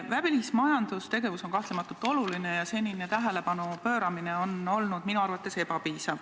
Välismajandustegevus on kahtlemata oluline ja senine tähelepanu pööramine sellele on olnud minu arvates ebapiisav.